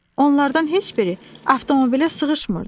Onlardan heç biri avtomobilə sığışmırdı.